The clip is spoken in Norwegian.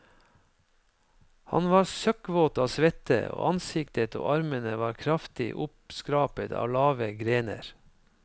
Han var søkkvåt av svette, og ansiktet og armene var kraftig oppskrapet av lave grener.